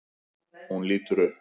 Hún lítur upp.